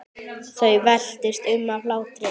Þau veltust um af hlátri.